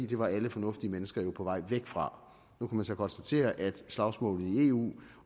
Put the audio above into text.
det var alle fornuftige mennesker jo på vej væk fra nu kan man så konstatere at slagsmålet i eu